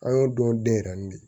An y'o dɔn den yɛrɛ de